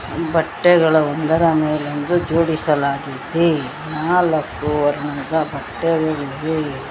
ಬಟ್ಟೆಗಳು ಒಂದರ ಮೇಲೊಂದು ಜೋಡಿಸಿಲಾಗಿದೆ ನಾಲಕ್ಕೂ ವರ್ಣದ ಬಟ್ಟೆಗಳಿವೆ.